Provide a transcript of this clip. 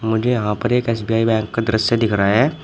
मुझे यहां पर एक सी_बी_आई बैंक का दृश्य दिख रहा है।